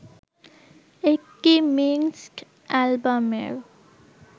একটি মিঙ্ড অ্যালবামের